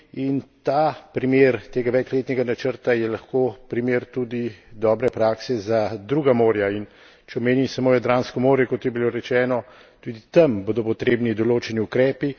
In ta primer tega večletnega načrta je lahko primer tudi dobre prakse za druga morja in če omenim samo Jadransko morje, kot je bilo rečeno, tudi tam bodo potrebni določeni ukrepi.